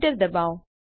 enter ડબાઓ